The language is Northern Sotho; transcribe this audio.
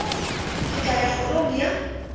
ke tla ya kgorong ya